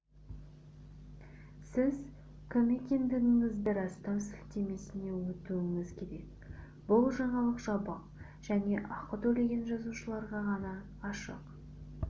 сіз кім екендігіңізді растау сілтемесіне өтуіңіз керек бұл жаңалық жабық және ақы төлеген жазылушыларға ғана ашық